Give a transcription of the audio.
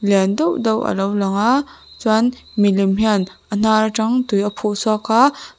lian deuh deuh alo lang a chuan milem hian a hnar atang tui a phuh chhuak a.